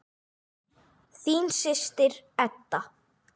Þín systir, Edda.